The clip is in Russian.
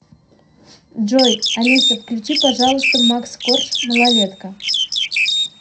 джой алиса включи пожалуйста макс корж малолетка